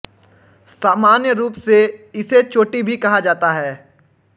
सामान्य रूप से इसे चोटी भी कहा जाता है